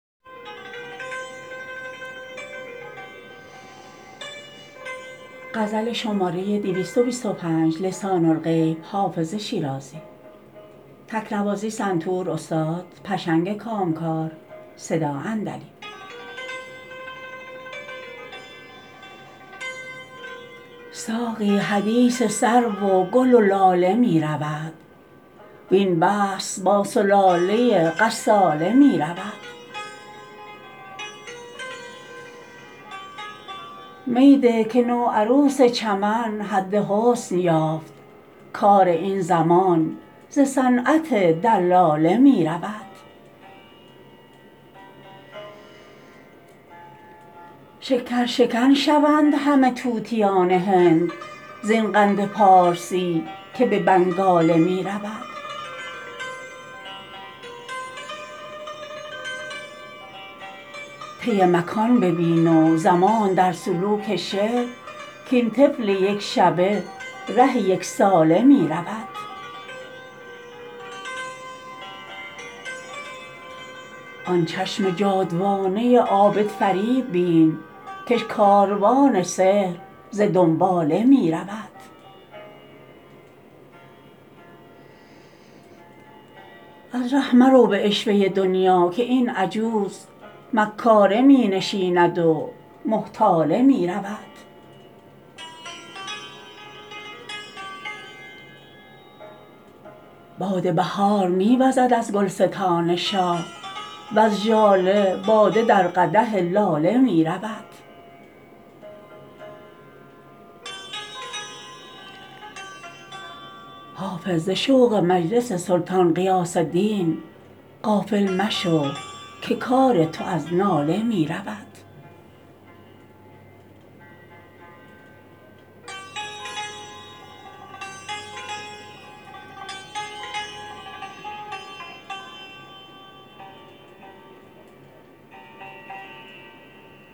ساقی حدیث سرو و گل و لاله می رود وین بحث با ثلاثه غساله می رود می ده که نوعروس چمن حد حسن یافت کار این زمان ز صنعت دلاله می رود شکرشکن شوند همه طوطیان هند زین قند پارسی که به بنگاله می رود طی مکان ببین و زمان در سلوک شعر کاین طفل یک شبه ره یک ساله می رود آن چشم جادوانه عابدفریب بین کش کاروان سحر ز دنباله می رود از ره مرو به عشوه دنیا که این عجوز مکاره می نشیند و محتاله می رود باد بهار می وزد از گلستان شاه وز ژاله باده در قدح لاله می رود حافظ ز شوق مجلس سلطان غیاث دین غافل مشو که کار تو از ناله می رود